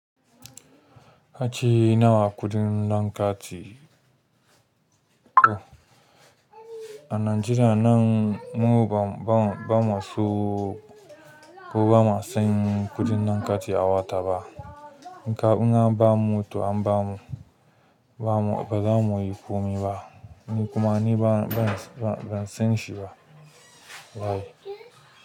Ace nawa kuɗin lan kati. A Najeriya nan mu ba, ba, ba mu so, ko ba mu san kuɗin dankaci a wata ba. In ka, in ka ba mu to an ba mu, ba mu, ba za mu yi komi ba. Ni kuma ni ba, ban, ban san shi ba. Baye.